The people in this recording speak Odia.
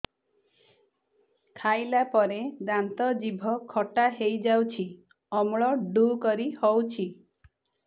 ଖାଇଲା ପରେ ଦାନ୍ତ ଜିଭ ଖଟା ହେଇଯାଉଛି ଅମ୍ଳ ଡ଼ୁକରି ହଉଛି